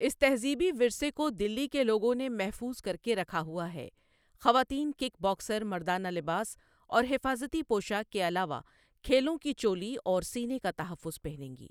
اس تہذیبی ورثے کو دلی کے لوگوں نے محفوظ کر کے رکھا ہوا ہے خواتین کک باکسر مردانہ لباس اور حفاظتی پوشاک کے علاوہ کھیلوں کی چولی اور سینے کا تحفظ پہنیں گی ۔